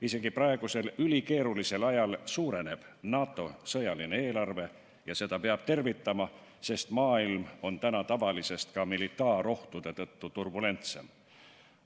Isegi praegusel ülikeerulisel ajal NATO sõjaline eelarve suureneb ja seda peab tervitama, sest maailm on praegu ka militaarohtude tõttu turbulentsem kui tavaliselt.